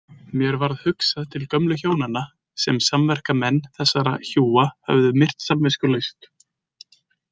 Mér varð hugsað til gömlu hjónanna sem samverkamenn þessara hjúa höfðu myrt samviskulaust.